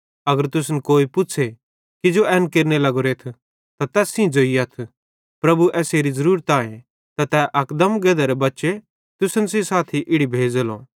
अगर तुसन कोई पुच़्छ़े किजो एन केरने लग्गोरेथ त तैस सेइं ज़ोइयथ प्रभुए एसेरी ज़रूरत आए त तै अकदम गधेरे बच्चे तुसन सेइं साथी इड़ी भेज़ेलो